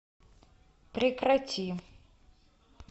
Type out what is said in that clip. прекрати